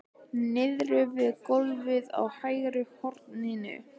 Niðri við gólfið í hægra horninu!